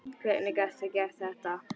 Hvernig gastu gert þetta?